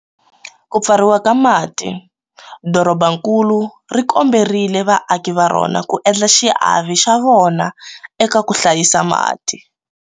Ku Pfariwa ka Mati, dorobankulu ri komberile vaaki va rona ku endla xiave xa vona eka ku hlayisa mati.